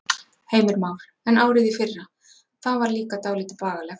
Heimir Már: En árið í fyrra, það var líka dálítið bagalegt?